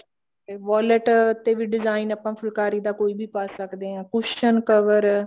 wallet ਤੇ ਵੀ design ਆਪਾਂ ਫੁਲਕਾਰੀ ਦਾ ਕੋਈ ਵੀ ਪਾ ਸਕਦੇ ਹਾਂ cushion cover